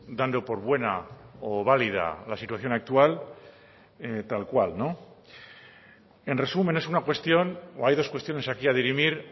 dando por buena o válida la situación actual tal cual en resumen es una cuestión o hay dos cuestiones aquí a dirimir